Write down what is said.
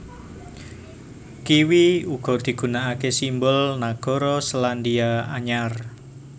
Kiwi uga digunakake simbol nagara Selandia Anyar